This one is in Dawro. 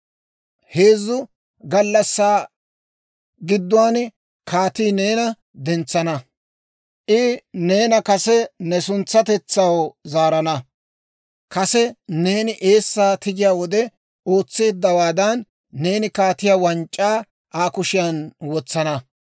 Heezzu gallassaa gidduwaan kaatii neena dentsana; I neena kase ne suntsatetsaw zaarana; kase neeni eessaa tigiyaa wode ootseeddawaadan, neeni kaatiyaa wanc'c'aa Aa kushiyaan wotsana.